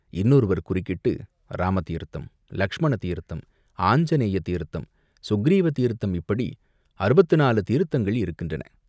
இன்னொருவர் குறுக்கிட்டு, "இராம தீர்த்தம், லக்ஷ்மண தீர்த்தம் ஆஞ்சநேய தீர்த்தம், சுக்ரீவதீர்த்தம் இப்படி அறுபத்து நாலு தீர்த்தங்கள் இருக்கின்றன.